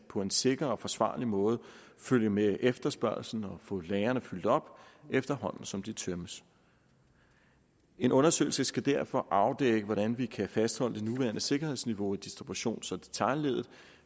på en sikker og forsvarlig måde kan følge med efterspørgslen og få lagrene fyldt op efterhånden som de tømmes en undersøgelse skal derfor afdække hvordan vi kan fastholde det nuværende sikkerhedsniveau i distributions og detailleddet